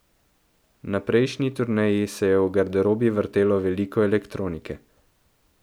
Na prejšnji turneji se je v garderobi vrtelo veliko elektronike.